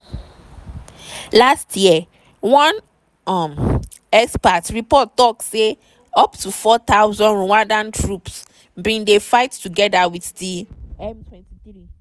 last year one un expert report tok say up to 4000 rwandan troops bin dey fight togeda wit di m23.